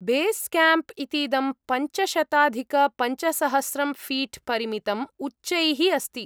Base camp इतीदं पञ्चशताधिकपञ्चसहस्रं feet परिमितम् उच्चैः अस्ति।